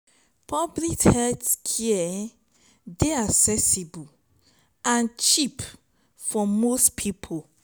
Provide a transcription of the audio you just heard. public health care dey accessible and cheap for most people